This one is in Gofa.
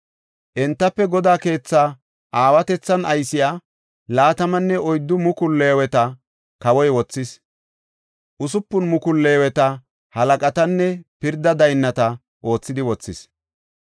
Entafe Godaa keetha aawatethan aysiya 24,000 leeweta kawoy wothis; 6,000 leeweta halaqatanne pirda daynnata oothidi wothis.